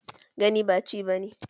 Gani ba ci ba ne.